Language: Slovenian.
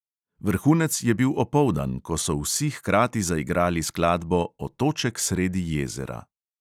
Vrhunec je bil opoldan, ko so vsi hkrati zaigrali skladbo otoček sredi jezera.